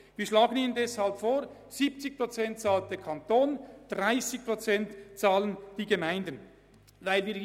Wir schlagen Ihnen vor, dass der Kanton 70 Prozent bezahlt, und die Gemeinden 30 Prozent.